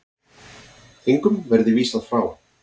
Engum verði vísað frá.